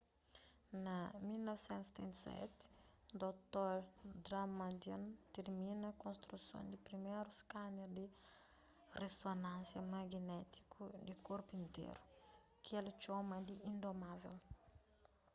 na1977 dr damadian tirmina konstruson di priméru skaner di rizonansia maginétiku di korpu interu ki el txoma di indomável